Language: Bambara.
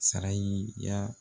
Sara y'i ya